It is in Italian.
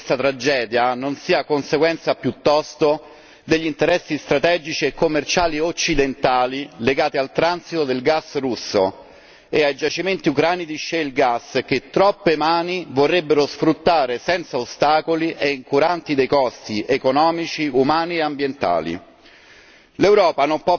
Ci chiediamo quanta parte di questa tragedia non sia conseguenza piuttosto degli interessi strategici e commerciali occidentali legati al transito del gas russo e ai giacimenti ucraini di Shell gas che troppe mani vorrebbero sfruttare senza ostacoli e incuranti dei costi economici, umani e ambientali.